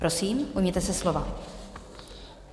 Prosím, ujměte se slova.